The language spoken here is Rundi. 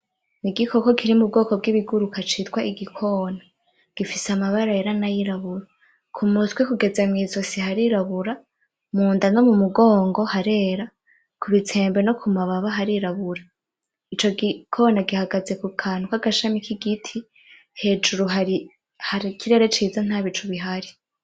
Igikoko kiri mubwoko bw’ibiguruka citwa igikona gifise amabara yera n’ayirabura, kumutwe kugeza mwizosi harirabura munda no mumugongo harera kubitsembe no kumababa harirabura ico gikona gihagaze kukantu kagashami kigiti; hejuru hari ikirere ciza nta bicu bihari .